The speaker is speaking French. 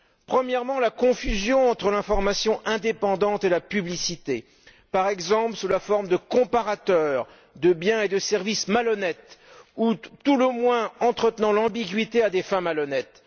Premièrement, la confusion entre l'information indépendante et la publicité, par exemple sous la forme de comparateurs de biens et de services malhonnêtes ou, à tout le moins, entretenant l'ambiguïté à des fins malhonnêtes.